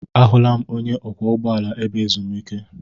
Ahụla m onye ọkwọ ụgbọala ebe ezumike.